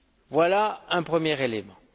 Voilà un premier élément.